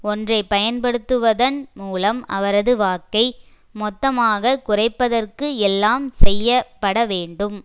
ஒன்றை பயன்படுத்துவதன் மூலம் அவரது வாக்கை மொத்தமாக குறைப்பதற்கு எல்லாம் செய்ய பட வேண்டும்